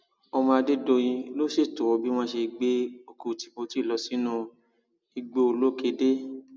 ọmọ adédọyìn ló ṣètò bí wọn ṣe gbé òkú timothy lọ sínú igbóolókode